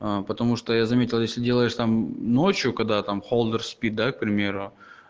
а потому что я заметил если делаешь там ночью когда там холдер спит да к примеру